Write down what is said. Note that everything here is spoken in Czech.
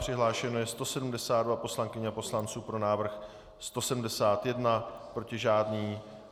Přihlášeno je 172 poslankyň a poslanců, pro návrh 171, proti žádný.